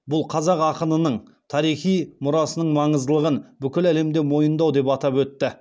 бұл қазақ ақынының тарихи мұрасының маңыздылығын бүкіл әлемде мойындау деп атап өтті